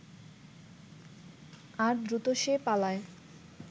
আর দ্রুত সে পালায়